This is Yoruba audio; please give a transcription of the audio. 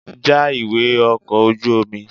Já ìwé ọkọ̀ ojú omi!